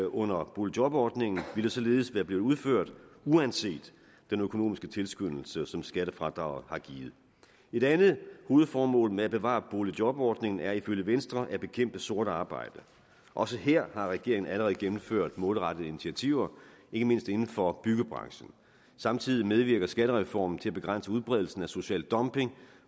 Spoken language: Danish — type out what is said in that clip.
under boligjobordningen ville således blive udført uanset den økonomiske tilskyndelse som skattefradraget har givet et andet hovedformål med at bevare boligjobordningen er ifølge venstre at bekæmpe sort arbejde også her har regeringen allerede gennemført målrettede initiativer ikke mindst inden for byggebranchen samtidig medvirker skattereformen til at begrænse udbredelsen af social dumping